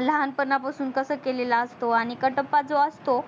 लहान पणहा पासून कस केलेला असतो आणि कटप्पा जो असतो